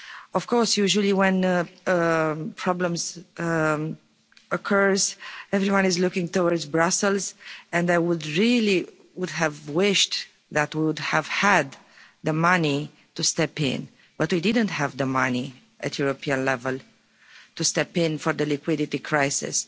Of course, usually, when problems occur, everyone is looking towards Brussels and I would really have wished that we would have had the money to step in, but we didn't have the money, at European level, to step in for the liquidity crisis.